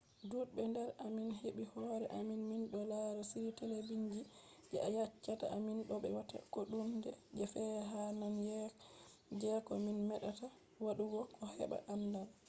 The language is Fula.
dudbe nder amin hebi hore amin mindo lara shiri telebijin je yeccata amin do be watta ko hunde je fe'i ha nane jeko min medata wadugo ko heba andal